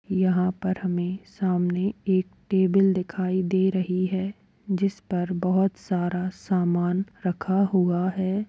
यहाँ पर हमें सामने एक टेबल दिखाई दे रही है जिस पर बहोत सारा सामान रखा हुआ है।